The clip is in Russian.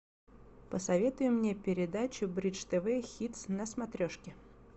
посоветуй мне передачу бридж тв хитс на смотрешке